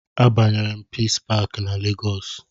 A banyere m pisi pakị na lagos